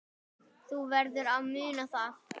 Þú verður að muna það.